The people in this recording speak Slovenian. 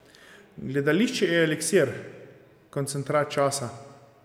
Gledališče je eliksir, koncentrat časa.